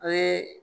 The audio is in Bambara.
O ye